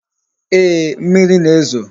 Ee, mmiri na-ezo